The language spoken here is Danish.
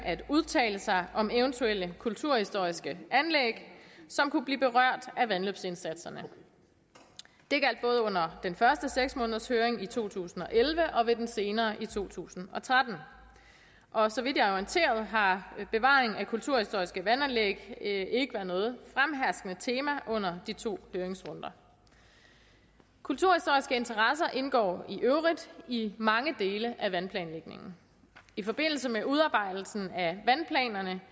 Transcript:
at udtale sig om eventuelle kulturhistoriske anlæg som kunne blive berørt af vandløbsindsatserne det gjaldt både under den første seks månedershøring i to tusind og elleve og ved den senere høring i to tusind og tretten og så vidt jeg er orienteret har bevaring af kulturhistoriske vandanlæg ikke været noget fremherskende tema under de to høringsrunder kulturhistoriske interesser indgår i øvrigt i mange dele af vandplanlægningen i forbindelse med udarbejdelsen af vandplanerne